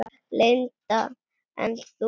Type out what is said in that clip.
Linda: En þú?